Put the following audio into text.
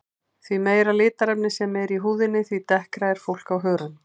Því meira litarefni sem er í húðinni því dekkra er fólk á hörund.